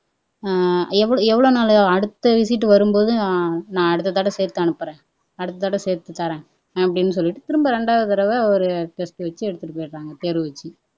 எவ்வளவு எவ்வளவு நாள் அடுத்த விசிட் வரும்போது நான் அடுத்த தடவை சேர்த்து அனுப்புறேன் அடுத்ததடவை சேர்த்து தாரேன் அப்படின்னு சொல்லிட்டு திரும்ப ரெண்டாவது தடவை ஒரு டெஸ்ட் வச்சு எடுத்துட்டு போயிடறாங்க தேர்வு வெச்சு